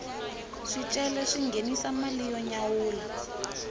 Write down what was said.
swicelwa swi nghenisa mali yo nyawula